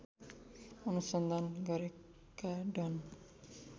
अनुसन्धान गरेका डन